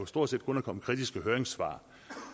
stort set kun er kommet kritiske høringssvar